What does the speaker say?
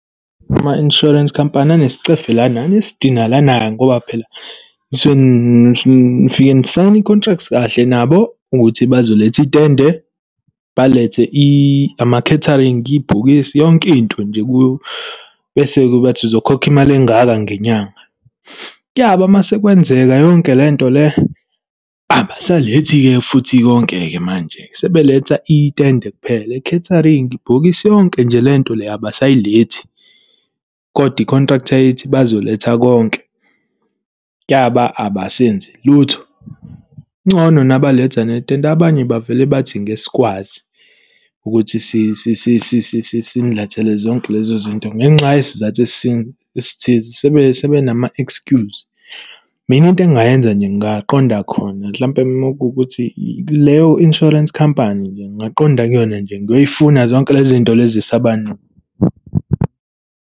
Ama-insurance company anescefe lana, anesidina lana-ke, ngoba phela sisuke nifike nisayine i-contract kahle nabo ukuthi bazoletha itende. Balethe ama-catering, ibhokisi, yonkinto nje kuyo, bese-ke bathi uzokhokha imali engaka ngenyanga. Kuyaba masekwenzeka yonke lento le, abasalethi-ke futhi konke-ke manje, sebeletha itende kuphela. I-catering, ibhokisi, yonke nje le nto le abayisalethi. Kodwa i-contract yayithi bazoletha konke. Kuyaba abasenzi lutho. Kungcono nabaletha netende, abanye bavele bathi ngeke sikwazi ukuthi sinilethele zonke lezo zinto. Ngenxa yesizathu esithize. Sebenama-excuse. Mina into engingayenza nje ngingaqonda khona mhlampe makuwukuthi leyo insurance company nje, ngingaaqonda kuyona nje ngiyoyifuna, zonke lezi zinto esaba .